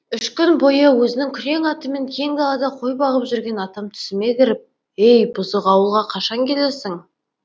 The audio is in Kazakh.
үш күн бойы өзінің күрең атымен кең далада қой бағып жүрген атам түсіме кіріп ей бұзық ауылға қашан келесің